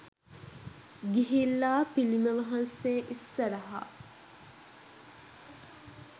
ගිහිල්ලා පිළිම වහන්සේ ඉස්සරහා